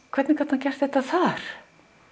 hvernig gat hann gert þetta þar